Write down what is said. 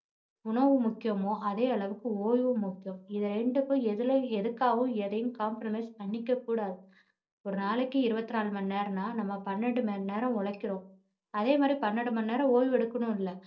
உணவு முக்கியமோ அதே அளவுக்கு ஓய்வும் முக்கியம் இது ரெண்டுக்கும் எதுலே~ எதுக்காகவும் எதையும் compromise பண்ணிக்க கூடாது ஒரு நாளைக்கு இருபத்துநாலு மணி நேரம்னா நம்ம பன்னிரெண்டு மணி நேரம் உழைக்கிறோம் அதே மாதிரி பன்னிரெண்டு மணி நேரம் ஓய்வு எடுக்கணும்ல